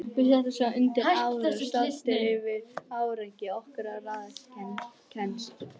Við settumst svo undir árar, stoltir yfir árangri okkar og ráðkænsku.